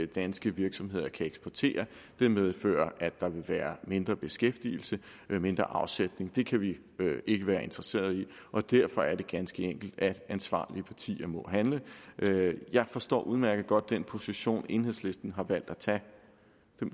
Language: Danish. danske virksomheder kan eksportere og det medfører at der vil være mindre beskæftigelse og mindre afsætning det kan vi ikke være interesseret i og derfor er det ganske enkelt sådan at ansvarlige partier må handle jeg forstår udmærket godt den position enhedslisten har valgt at tage